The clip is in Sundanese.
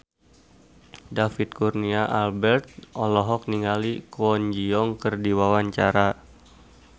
David Kurnia Albert olohok ningali Kwon Ji Yong keur diwawancara